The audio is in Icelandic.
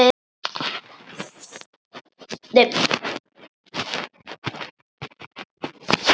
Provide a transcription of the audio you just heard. Dóttir þeirra er Dagný Hlín.